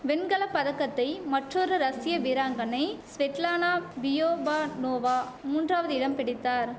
வெண்கல பதக்கத்தை மற்றொரு ரஷிய வீராங்கனை ஸ்வெட்லானா பியோபாநோவா மூன்றாவது இடம் பிடித்தார்